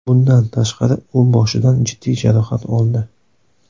Bundan tashqari, u boshidan jiddiy jarohat oldi.